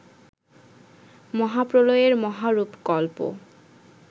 মহাপ্রলয়ের মহারূপকল্প